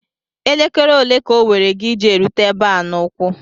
Elekere ole ka owere gi iji erute ebe a n'ụkwụ?